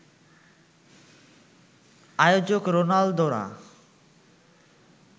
আয়োজক রোনালদোরা